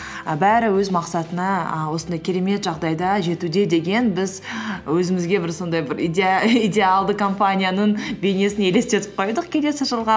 і бәрі өз мақсатына ііі осындай керемет жағдайда жетуде деген біз өзімізге бір сондай бір идеалды компанияның бейнесін елестетіп қойдық келесі жылға